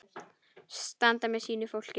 Standa með sínu fólki.